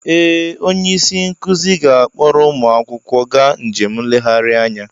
Ee! Onye isi nkụzi ga-akpọrọ ụmụ akwụkwọ gaa njem nlegharị anya.